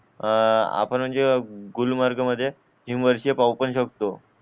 आ आपण म्हणजे गुलमर्ग मध्ये तीन वर्ष पाहू पण शकतो